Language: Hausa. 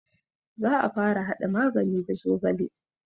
Za a fara haɗa magani da zogale